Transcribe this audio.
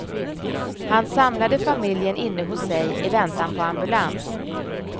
Han samlade familjen inne hos sig i väntan på ambulans.